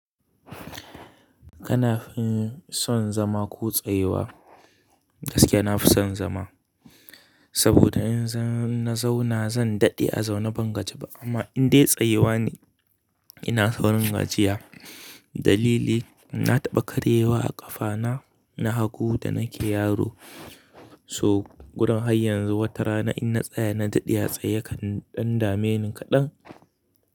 Kana son zama ko tsayuwa? Gaskiya nafi son zama. Saboda in zan na zauna zan daɗe a zaune ban gaje ba amma in dai tsayewa ne ina saurin gajiya. Dalili na taɓa karyewa a ƙafa na na hagu da nake yaro. So gurin har yanzu wata rana in na tsaya na daɗe a tsaye yakan ɗan dameni kaɗan.